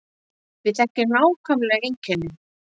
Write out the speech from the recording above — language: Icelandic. Við þekkjum nákvæmlega einkennin